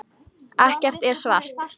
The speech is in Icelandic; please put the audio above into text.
Ekkert er svart.